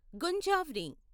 గుంజావ్ని